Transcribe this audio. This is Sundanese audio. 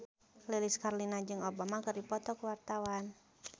Lilis Karlina jeung Obama keur dipoto ku wartawan